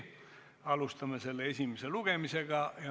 Alustame selle esimest lugemist.